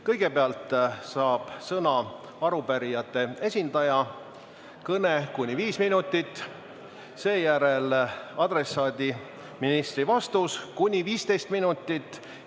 Kõigepealt saab sõna arupärijate esindaja, kõne kuni 5 minutit, sellele järgneb adressaadiks oleva ministri vastus kuni 15 minutit.